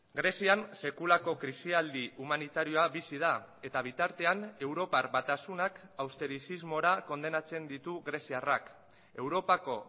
grezian sekulako krisialdi humanitarioa bizi da eta bitartean europar batasunak austerisismora kondenatzen ditu greziarrak europako